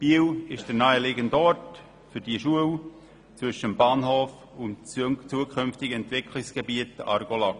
Biel ist der naheliegende Ort für diese Schule zwischen dem Bahnhof und dem zukünftigen Entwicklungsgebiet Argolac.